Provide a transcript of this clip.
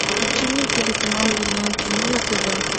включи мне телеканал родное кино на тв